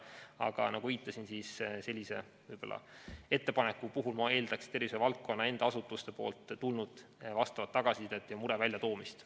Aga nagu viitasin, sellise ettepaneku puhul ma eeldaksin tervishoiuvaldkonna enda asutustelt tulnud tagasisidet ja mure väljatoomist.